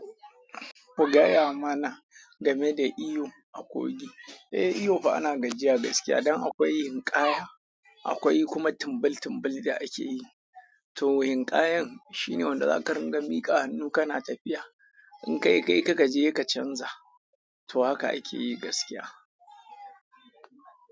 Ku gaya mana game da iyo a Kogi. Eh, iyo fa ana gajiya gaskiya don akwai hinƙaya, akwai kuma timbil-timbil da ake yi. To hinƙayan shine wanda za ka ringa miƙa hannu ka na tafiya. In kai kai kaga ji heka canza. To haka a ke yi gaskiya.